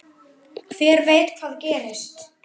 Hver veit hvað gerist?